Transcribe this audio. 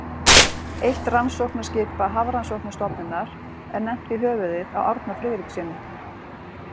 Eitt rannsóknaskipa Hafrannsóknastofnunar er nefnt í höfuðið á Árna Friðrikssyni.